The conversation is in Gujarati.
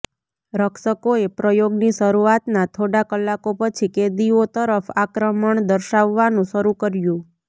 રક્ષકોએ પ્રયોગની શરૂઆતના થોડા કલાકો પછી કેદીઓ તરફ આક્રમણ દર્શાવવાનું શરૂ કર્યું